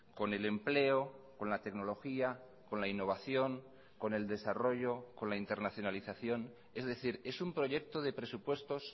con el empleo con la tecnología con la innovación con el desarrollo con la internacionalización es decir es un proyecto de presupuestos